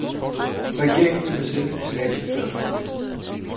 Regeringen ville sende et signal til børsfolkene.